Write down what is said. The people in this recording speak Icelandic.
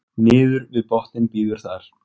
niður við botninn bíður þar